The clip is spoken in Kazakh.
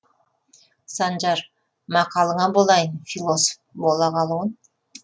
санжар мақалыңа болайын философ бола қалуын